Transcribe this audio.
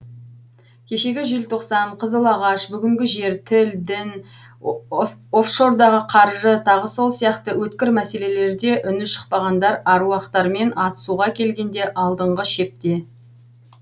кешегі желтоқсан қызылағаш бүгінгі жер тіл дін офшордағы қаржы тағы сол сияқты өткір мәселелерде үні шықпағандар аруақтармен атысуға келгенде алдыңғы шепте